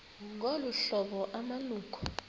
ngolu hlobo amalungu